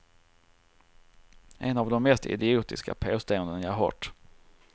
Ett av de mest idiotiska påståenden jag hört.